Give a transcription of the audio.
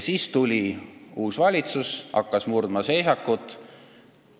Siis tuli uus valitsus ja hakkas seisakut murdma.